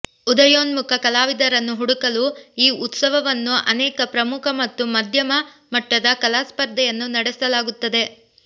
ಉದಯೋನ್ಮುಖ ಕಲಾವಿದರನ್ನು ಹುಡುಕಲು ಈ ಉತ್ಸವವನ್ನು ಅನೇಕ ಪ್ರಮುಖ ಮತ್ತು ಮಧ್ಯಮ ಮಟ್ಟದ ಕಲಾ ಸ್ಪರ್ಧೆಯನ್ನು ನಡೆಸಲಾಗುತ್ತದೆ